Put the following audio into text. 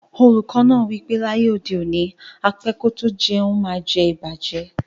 Oluko naa wipe laye ode oni, á pẹ kò tó jẹ̀un maá ǹ jẹ̀ ìbàjẹ́.